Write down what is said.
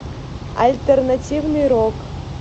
альтернативный рок